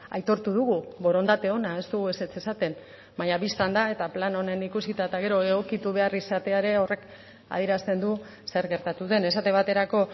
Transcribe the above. aitortu dugu borondate ona ez dugu ezetz esaten baina bistan da eta plan honen ikusita eta gero egokitu behar izatea ere horrek adierazten du zer gertatu den esate baterako